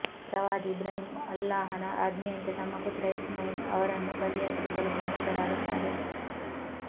ಪ್ರವಾದಿ ಇಬ್ರಾಹಿಮ್ ಅಲ್ಲಾಹನ ಆಜ್ಞೆಯಂತೆ ತಮ್ಮ ಪುತ್ರ ಇಸ್ಮಾಯಿಲ್ ಅವರನ್ನು ಬಲಿಯರ್ಪಿಸಲು ಸನ್ನದ್ಧರಾಗುತ್ತಾರೆ